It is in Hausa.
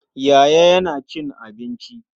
Yaya yana cin abinci.